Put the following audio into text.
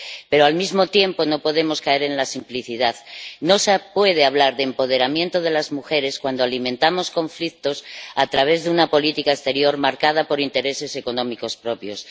Pero, al mismo tiempo, no podemos caer en la simplicidad no se puede hablar de empoderamiento de las mujeres, cuando alimentamos conflictos a través de una política exterior marcada por intereses económicos propios.